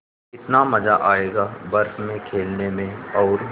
कितना मज़ा आयेगा बर्फ़ में खेलने में और